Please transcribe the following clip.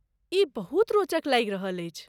ई बहुत रोचक लागि रहल अछि!